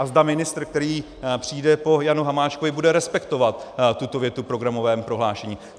A zda ministr, který přijde po Janu Hamáčkovi, bude respektovat tuto větu v programovém prohlášení.